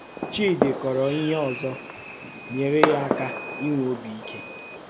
Chídì kọ̀rò ihe òzò nyèrè ya aka ínwè òbì íké.